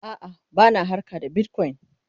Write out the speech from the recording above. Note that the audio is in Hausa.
a'a bana harka da bitcoin